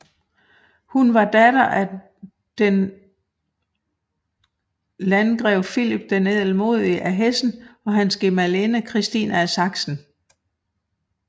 Hun var datter af den Landgrev Filip den Ædelmodige af Hessen og hans gemalinde Christine af Sachsen